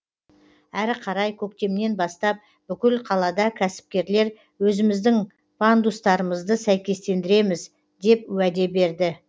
әрі қарай көктемнен бастап бүкіл қалада кәсіпкерлер өзіміздің пандустарымызды сәйкестендіреміз деп уәде берді